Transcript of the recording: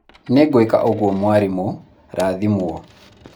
nĩngwĩka ũguo mwarimũ, rathimwo!